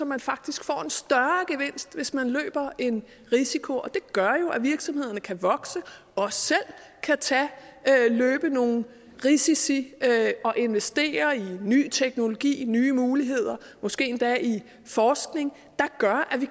man faktisk får en større gevinst hvis man løber en risiko og det gør jo at virksomhederne kan vokse og selv kan løbe nogle risici og investere i ny teknologi nye muligheder måske endda i forskning der gør at vi